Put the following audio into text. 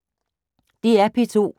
DR P2